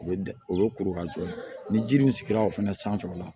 U bɛ u bɛ kuru kan cogo min ni ji dun sigira o fana sanfɛ o la